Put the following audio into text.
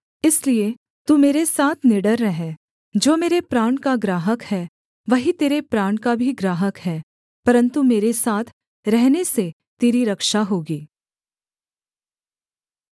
इसलिए तू मेरे साथ निडर रह जो मेरे प्राण का ग्राहक है वही तेरे प्राण का भी ग्राहक है परन्तु मेरे साथ रहने से तेरी रक्षा होगी